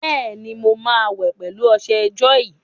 Bẹ́ẹ̀ni, mo máa wẹ̀ pẹ̀lú ọṣẹ jọ́ọ̀yì.